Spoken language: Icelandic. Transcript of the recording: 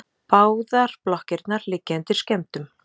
Báðar blokkirnar liggja undir skemmdum